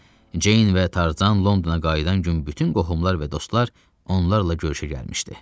Jeyn və Tarzan Londona qayıdan gün bütün qohumlar və dostlar onlarla görüşə gəlmişdi.